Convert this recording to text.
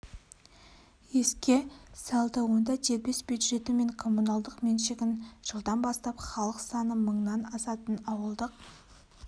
еске салды онда дербес бюджеті мен коммуналдық меншігін жылдан бастап халық саны мыңнан асатын ауылдық